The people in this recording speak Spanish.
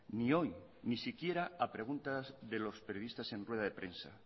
ni hoy ni siquiera a preguntas de los periodistas en rueda de prensa